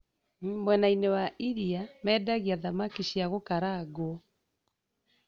Mwenainĩ wa iria mendagia thamaki cia gũkarangwo